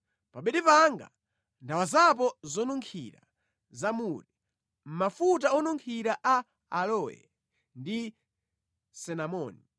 Pa bedi panga ndawazapo zonunkhira za mure, mafuta onunkhira a aloe ndi sinamoni.